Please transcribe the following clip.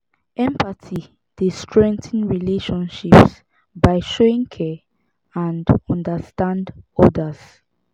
empathy dey strengthen relationships by showing care and understand odas.